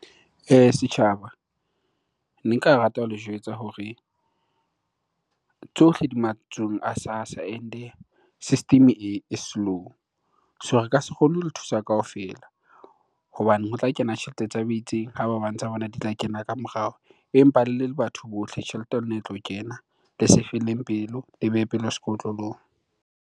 Setjhaba, ne nka rata ho le jwetsa hore tsohle di matsohong a SASSA and-e system e slow. So re ka se kgone ho le thusa kaofela hobane ho tla kena tjhelete tsa bo itseng, ha ba bang tsa bona di tla kena ka morao. Empa le le batho bohle tjhelete ya lona e tlo kena. Le se e felleng pelo le behe pelo sekotlolong.